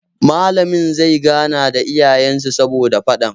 Malamin zai gana da iyayen su saboda faɗan